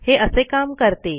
हे असे काम करते